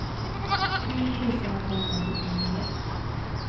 tio tusen åttahundrasjuttionio